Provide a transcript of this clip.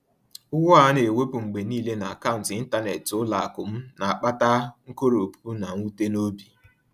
Ụgwọ a na-ewepụ mgbe niile n’akaụntụ ịntanetị ụlọ akụ m na-akpata nkoropụ na mwute n’obi.